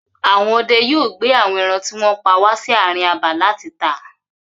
Àwọn ọdẹ yóò gbé àwọn ẹran tí wọ́n pa wà sí àárín abà láti tà.